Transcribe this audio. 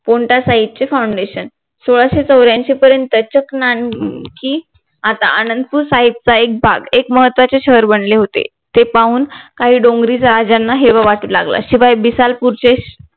गोंठा साहिबचे FOUNDATION सोळाशे चौर्यांशी पर्यंतच्या नानकिं आता आनंदपूर साहेबचा एक भाग एक महत्वाचे शहर बनले होते ते पाहून काही डोंगरी राजांना हेवा वाटू लागला शिवाय बिसलपूरचे